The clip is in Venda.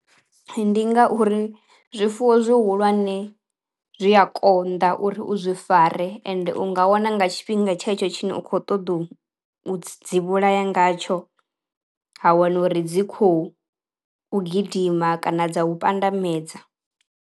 Ndi ngauri zwifuwo zwihulwane zwi a konḓa uri u zwi fare ende u nga wana nga tshifhinga tshetsho tshine u kho ṱoḓou dzi vhulaya ngatsho, ha wana uri dzi khou u gidima kana dza u pandamedza.